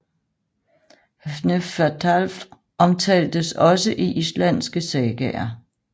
Hnefatafl omtaltes også i islandske sagaer